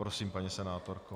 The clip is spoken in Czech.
Prosím, paní senátorko.